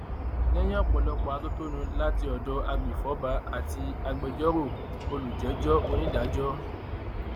lẹyìn ọpọlọpọ atótónu láti ọdọ agbèfọba àti agbẹjọrò olùjẹjọ onídàájọ d